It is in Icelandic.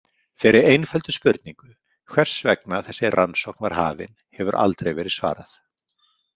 Þeirri einföldu spurningu, hvers vegna þessi rannsókn var hafin, hefur aldrei verið svarað.